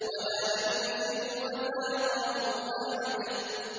وَلَا يُوثِقُ وَثَاقَهُ أَحَدٌ